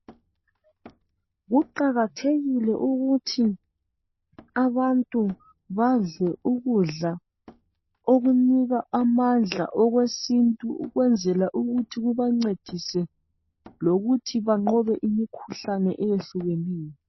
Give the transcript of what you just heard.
Kuqakathekile ukuthi abantu badle ukudla okunika amandla okwesintu ukwenzela ukuthi kubancedise lokuthi banqobe imikhuhlane eyehlukeneyo.